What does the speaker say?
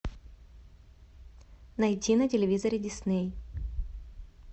найти на телевизоре дисней